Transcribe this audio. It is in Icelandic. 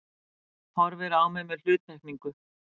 Horfir á mig með hluttekningu.